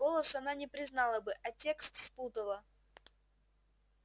голос она не признала бы а текст спутала